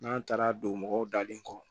N'an taara don mɔgɔw dalen kɔ